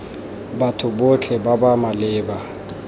batho botlhe ba ba maleba